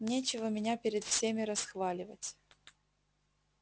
нечего меня перед всеми расхваливать